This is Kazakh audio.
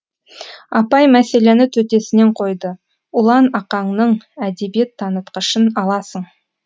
апай мәселені төтесінен қойды ұлан ақаңның әдебиет танытқышын аласың